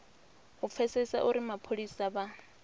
u pfesesa uri mapholisa vha